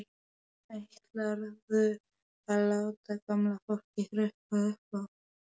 Ætlarðu að láta gamla fólkið hrökkva upp af?